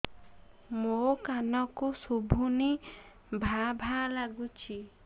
ମୋ କାନକୁ ଶୁଭୁନି ଭା ଭା ଲାଗୁଚି